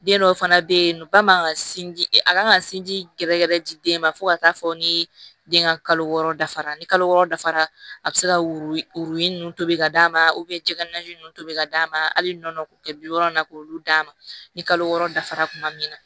Den dɔw fana bɛ yen nɔ ba man ka sin di a kan ka sinji gɛrɛgɛrɛ di den ma fo ka taa fɔ ni den ka kalo wɔɔrɔ dafara ni kalo wɔɔrɔ dafara a bɛ se ka worinin ninnu tobi ka d'a ma cɛ ka na ji nun to bɛ ka d'a ma hali nɔnɔ k'u kɛ bi wɔɔrɔ in na k'olu d'a ma ni kalo wɔɔrɔ dafara tuma min na